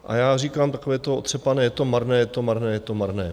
A já říkám takové to otřepané: Je to marné, je to marné, je to marné.